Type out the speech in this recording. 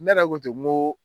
Ne yɛrɛ n ko ten n ko